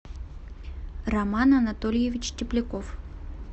роман анатольевич тепляков